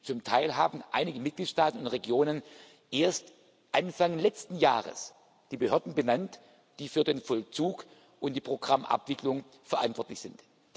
Zum Teil haben einige Mitgliedstaaten und Regionen erst Anfang letzten Jahres die Behörden benannt, die für den Vollzug und die Programmabwicklung verantwortlich sind.